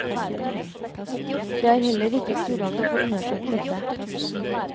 Det er heller ikke kurant å få undersøkt dette.